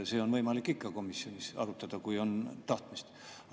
Seda on võimalik ikka komisjonis arutada, kui on tahtmist.